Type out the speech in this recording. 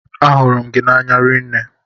Ahụrụ m gị n'anya rinne.